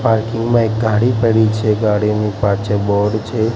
Parking માં એક ગાડી પડી છે ગાડીની પાછડ બોર્ડ છે.